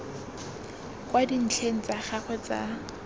kwa dintlheng tsa gagwe tsa